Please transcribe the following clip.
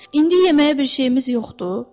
İndi yeməyə bir şeyimiz yoxdu?